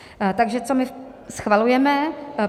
Takže co my schvalujeme?